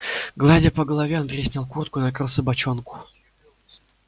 гладя по голове андрей снял куртку и накрыл собачонку